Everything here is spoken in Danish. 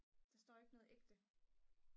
der står ikke noget ægte